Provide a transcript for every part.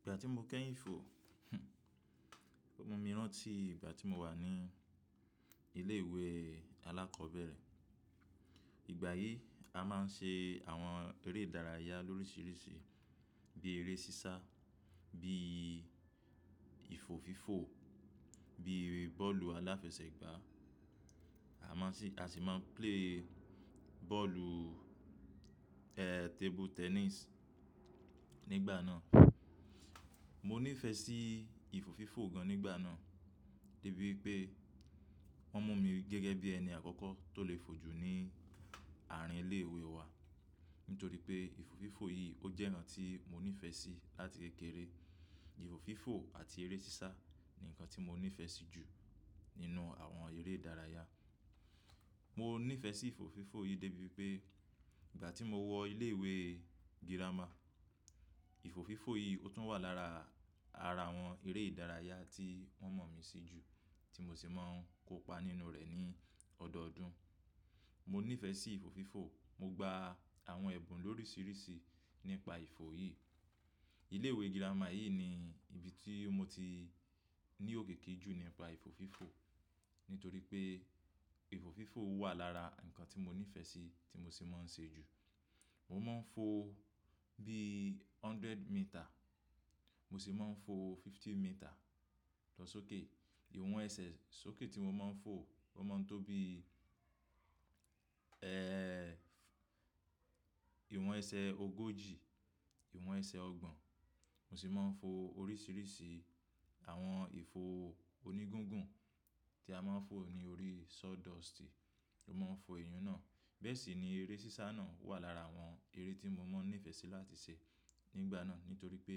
Ìgbà tí mo kẹ́yìn fò, ó mú mi rántí ìgbà tí mo wà ní ilé ìwé alákọ̀ọ́bẹ̀rẹ̀. Ìgbà yìí a máa ń ṣe àwọn eré ìdárayá lóríṣiríṣi bí eré sísá, bí ìfò fífò, bí ere bọ́ọ̀lù aláfẹsẹ̀gbá. A máa n sì, a sì máa ń play bọ́ọ̀lù, ẹ́ẹ́, table tennis nígbà náà. Mo níìfẹ̀ sí ìfò fífò gan nígbà náà, dé bí wipé wọ́n mú mi gẹ́gẹ́ bí ẹni àkọ́kọ́ tó le fò jù ní àárín ilé ìwé wa. Nítorí pé ìfò fífò yìí ó jẹ́ nkan tí mo níìfẹ̀ sí láti kékeré. Ìfò fífò àti eré sísá ni ǹkan tí mo níìfẹ̀ sí jù nínú àwọn eré ìdárayá. Mo níìfẹ̀ sí ìfò fífò yìí dé bí wipé ìgbà tí mo wọ ilé ìwé girama, ìfò fífò yìí ó tún wà lára àrà àwọn eré ìdárayá tí wọ́n mọ̀ mí sí jù tí mo sì máa ń kópa nínú rẹ̀ ní ọdọọdún. Mo níìfẹ̀ sí ìfò fífò, mo gba àwọn ẹ̀bùn lóríṣiríṣi nípa ìfò yìí. Ilé ìwé girama yìí ni ibi tí mo ti ní òkiki jù nípa ìfò fífò. Nítorí pé ìfò fífò wà lára nǹkan tí mo níìfẹ̀ sí tí mo sì máa ń ṣe jù. Mo máa ń fò bí hundred metre, mo sì máa ń fò fifty metre. Lọ sókè, ìwọ̀n ẹsẹ̀ sókè tí mo máa ń fò, ó máa ń tó bí, ìwọ̀n ẹsẹ̀ ogójì, ìwọ̀n ẹsẹ̀ ọgbọ̀n. Mo sì máa ń fò oríṣiríṣi àwọn ìfò oní gungun tí a máa ń fò ní orí sawdust. Mo máa ń fò eyún náà. Bẹ́ẹ̀ sì ni eré sísá náà wà lára àwọn eré tí mo máań nífẹ̀ẹ́ sí láti ṣe nígbà náà. Nítorí pé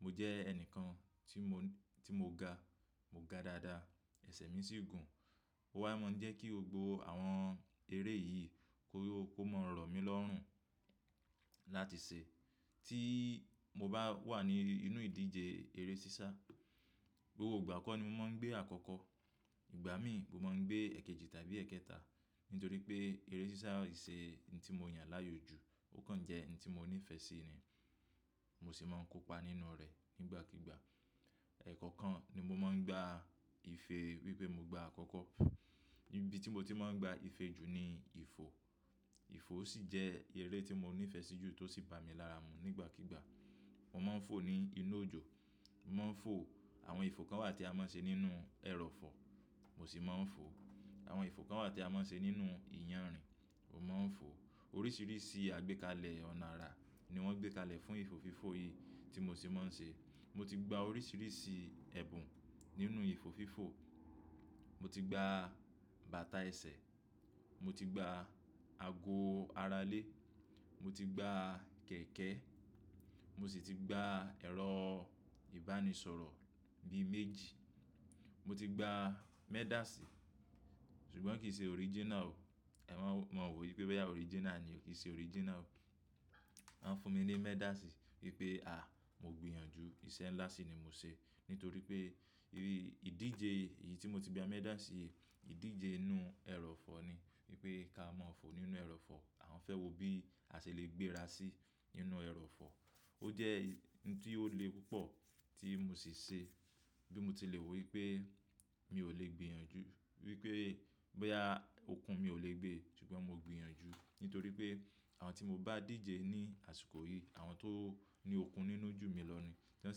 mo jẹ́ ẹnìkan tí mò, tí mo ga, mo ga dáadáa, ẹsẹ̀ mi sì gùn. Ó waá máań jẹ́ kí gbogbo àwọn eré yìí kó, kó máa rọ̀ mí lọ́rùn láti ṣe. Tí mo bá wà nínú ìdíje eré sísá, gbogbo ìgbà kọ́ ni mo máa ń gbé àkọ́kọ́. Ìgbà mí mo máań gbé èkejì tàbí èkẹta. Nítorí pé eré sísá ìṣè oun tí mo yàn láàyò jù ó kàn jẹ́ oun tí mo níìfẹ̀ sí ni. Mo sì máa ń kópa nínú rẹ̀ nígbàkígbà. Ẹ̀kọ̀kan nimo máa ń gba ìfe wípé mo gba àkọ́kọ́. Ibi tí mo ti máa ń gba ìfe jù ni ìfò. Ìfò sìjẹ́ eré tí mo níìfẹ̀ sí jù tó sì ba mi lára mu nígbàkígbà. Mo máań fò ní inú òjò, mo máań fò àwọn ìfò kan wà tí a máań ṣe nínú ẹrọ̀fọ̀, mo sì máań fò. Àwọn ìfò kan wà tí a máań ṣe nínú ìyànrìn, mo máań fò. Oríṣiríṣi àgbékalẹ̀ ọ̀nà ara ni wọ́n gbé kalẹ̀ fún ìfò fífò yìí tí mo sì máań ṣe. Mo ti gba oríṣiríṣi ẹ̀bùn nínú ìfò fífò. Mo ti gba bàtà ẹsẹ̀, mo ti gba ago ara ilé, mo ti gba kẹ̀kẹ́, mosì ti gba ẹ̀rọ ìbánisọ̀rọ̀ bí méjì. Moti gba medal sí, ṣùgbọ́n kì í ṣe original o. Ẹ wa, má wò wípé boya original ni o, kì í ṣe original o. Wọ́n fúnmi ní medal sí wípé, à, mo gbìyànjú, ìṣe ńlá sì ni mo ṣe. Nítorí pé ibi ìdíje yìí tí mo ti gba medal sí yìí, ìdíje inú ẹrọ̀fọ̀ ni. Wípé ká má fò nínú ẹrọ̀fọ̀, àwọn fẹ́ wo bí a ṣe lè gbéra sí nínú ẹrọ̀fọ̀. Ó jẹ́ oun tí ó le púpọ̀ tí mo sì ṣe bí mo ti lè wò wípé mi ò lè gbìyànjú, wípé boya okun mi ò lè gbé ṣùgbọ́n mo gbìyànjú. Nítorí pé àwọn tí mo bá díje ní àsìkò yìí, àwọn tóní okun nínú jù mí lọ ni, tí wọ́n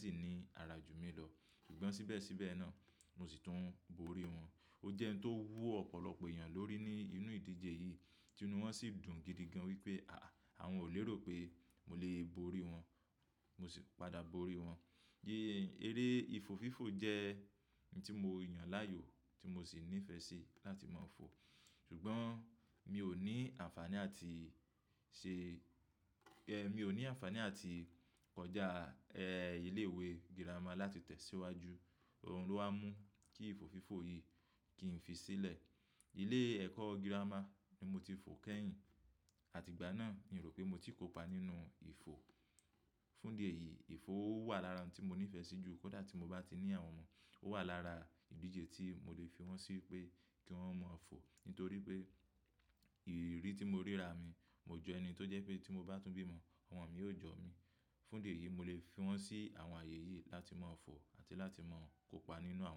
sì ní ara jù mí lọ. Ṣùgbọ́n síbẹ̀síbẹ̀ náà mo sìi tún borí wọn. Ó jẹ́ ohun tó wu ọ̀pọ̀lọpọ̀ èèyàn lórí ní inú ìdíje yìí tí inú wọn sì dùn gidi gan wípé àáh aah, àwọn ò lérò pé mo lè borí wọn, mo sì padà borí wọn. Eré ìfò fífò jẹ́ oun tí mo yàn láàyò tí mo sì nífẹ̀ẹ́ sí láti máa fò. Ṣùgbọ́n mi ò ní àǹfàní àti ṣe, mi ò ní àǹfàní àti kọjá ẹ́ẹ́ ilé ìwé girama láti tẹ̀síwájú. Òun ló wá mú kí ìfò fífò yìí kì ín fi sílẹ̀. Ilé ẹ̀kọ́ girama ni mo ti fò kẹ́yìn, àti ìgbà náà mi ò rò pé mo ti kópa nínú ìfò. Fún idi èyí ìfòo wà lára ohun tí mo nífẹ̀ẹ́ sí jù. Kódà tí mo bá ti ní àwọn ọmọ, ó wà lára ìdíje tí mo lè fi wọ́n sí pé kí wọ́n mọ̀ fò. Nítorí pé ìrírí tí mo rí ra mi, mo jọ ẹni tó jẹ́ pé tí mo bá tún bímọ, ọmọ mi yóò jọ mi. Fún idi èyí mo lè fi wọ́n sí àwọn ààyè yìí láti máa fò àti láti máa kópa nínú àwọn.